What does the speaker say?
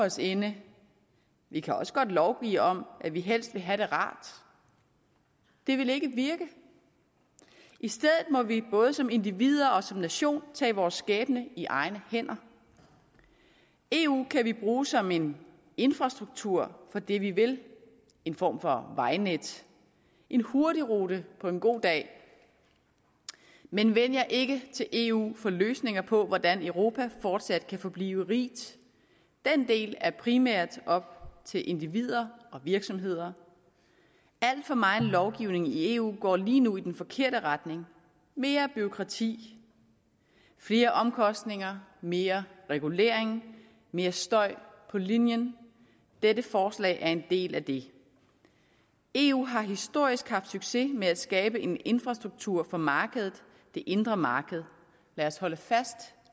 os inde vi kan også godt lovgive om at vi helst vil have det rart det vil ikke virke i stedet må vi både som individer og som nation tage vores skæbne i egne hænder eu kan vi bruge som en infrastruktur for det vi vil en form for vejnet en hurtigrute på en god dag men vend jer ikke til eu for løsninger på hvordan europa fortsat kan forblive rigt den del er primært op til individer og virksomheder al for megen lovgivning i eu går lige nu i den forkerte retning mere bureaukrati flere omkostninger mere regulering mere støj på linjen dette forslag er en del af det eu har historisk haft succes med at skabe en infrastruktur for markedet det indre marked lad os holde fast